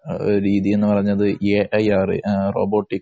രീതി എന്ന് പറഞ്ഞത് എഐആര്‍ഇറോബോട്ടിക്